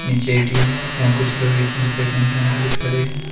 पीछे ए_टी_एम है यहां कुछ लोग ए_टी_एम से पैसे निकालने के लिए खड़े हैं।